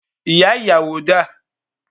Ìyá ìyàwó dà?